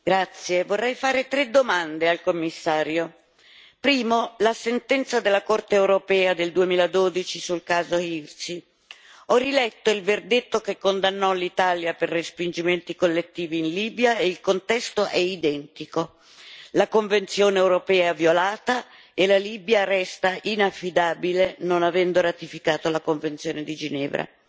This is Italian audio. Signor Presidente, onorevoli colleghi, vorrei fare tre domande al Commissario. Primo la sentenza della Corte europea del 2012 sul caso Hirsi. Ho riletto il verdetto che condannò l'Italia per respingimenti collettivi in Libia, e il contesto è identico. La Convenzione europea è violata e la Libia resta inaffidabile, non avendo ratificato la Convenzione di Ginevra.